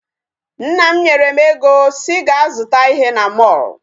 Nna m nyere m ego sị gaa zụta ihe na mall.